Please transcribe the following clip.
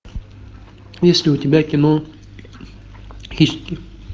есть ли у тебя кино хищники